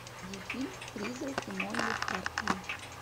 фильм призраки молли хартли